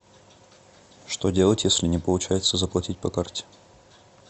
что делать если не получается заплатить по карте